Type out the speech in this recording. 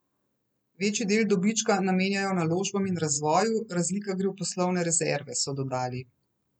Večji del dobička namenjajo naložbam in razvoju, razlika gre v poslovne rezerve, so dodali.